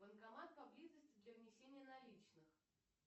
банкомат поблизости для внесения наличных